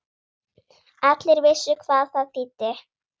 Allir vissu hvað það þýddi.